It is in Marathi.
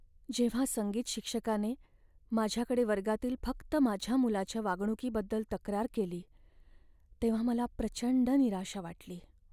जेव्हा संगीत शिक्षकाने माझ्याकडे वर्गातील फक्त माझ्या मुलाच्या वागणुकीबद्दल तक्रार केली तेव्हा मला प्रचंड निराशा वाटली.